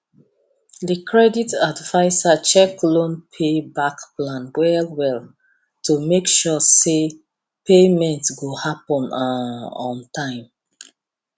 the credit adviser check loan pay back plan well well to make sure say payment go happen um on time